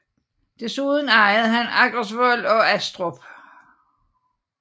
Desuden ejede han Aggersvold og Aastrup